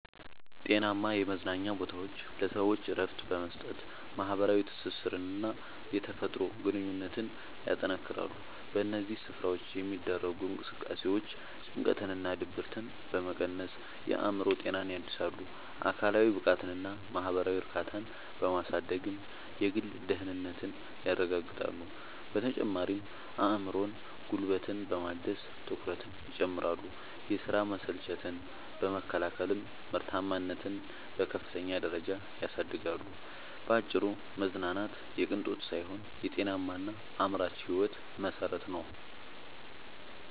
ጤናማ የመዝናኛ ቦታዎች ለሰዎች እረፍት በመስጠት፣ ማኅበራዊ ትስስርንና የተፈጥሮ ግንኙነትን ያጠናክራሉ። በእነዚህ ስፍራዎች የሚደረጉ እንቅስቃሴዎች ጭንቀትንና ድብርትን በመቀነስ የአእምሮ ጤናን ያድሳሉ፤ አካላዊ ብቃትንና ማኅበራዊ እርካታን በማሳደግም የግል ደህንነትን ያረጋግጣሉ። በተጨማሪም አእምሮንና ጉልበትን በማደስ ትኩረትን ይጨምራሉ፤ የሥራ መሰልቸትን በመከላከልም ምርታማነትን በከፍተኛ ደረጃ ያሳድጋሉ። ባጭሩ መዝናናት የቅንጦት ሳይሆን የጤናማና አምራች ሕይወት መሠረት ነው።